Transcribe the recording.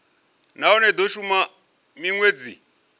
nahone i do shuma minwedzi